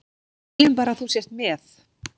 Við viljum bara að þú sért með.